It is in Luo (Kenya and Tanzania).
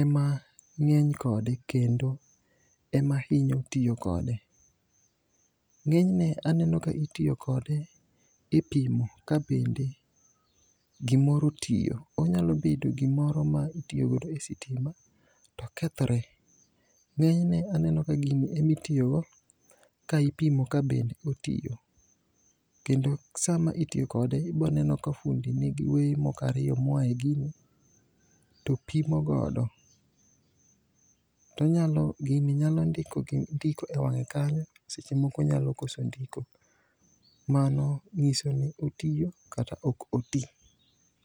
ema nge'ny kode kendo ema hinyo tiyo kode, ngenyne aneno ka itiyo kode epimo ka bende gimoro tiyo, onyalo bedo gimoro ma itiyo godo e sitima to kethre, nge'nyne aneno ka gini emitiyogo kaipimo ka bende otiyo, kendo sama itiyo kode iboneno ka fudi nigi weye moko ariyo ma oyae e gini to pimo godo tonyalo gini nyalo ndiko e wange kanyo seche moko onyalo koso ndiko mano nyiso ni otiyo kata ok oti.